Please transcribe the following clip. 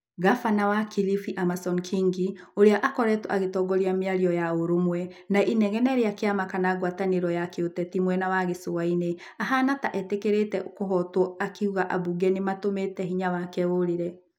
Ngabana wa Kilifi Amason Kĩngĩ ũrĩa akoretwo agĩtongoria mĩario ya ũrũmwe na inegene rĩa kĩama kana ngwatanĩro ya kĩũteti mwena wa gĩcũa-inĩ, ahana ta etĩkĩrĩte kũhootwo akiuga ambunge nĩ matũmĩte hĩnya wake ũrĩre.